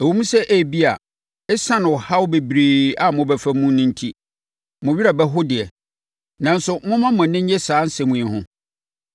Ɛwom sɛ, ebia, ɛsiane ɔhaw bebree a mobɛfa mu no enti, mo werɛ bɛho deɛ, nanso momma mo ani nnye saa asɛm yi ho.